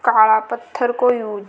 काला पत्थर का यो --